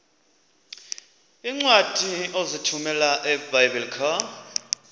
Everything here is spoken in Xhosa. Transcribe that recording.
iincwadi ozithumela ebiblecor